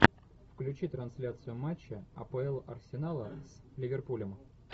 включи трансляцию матча апл арсенала с ливерпулем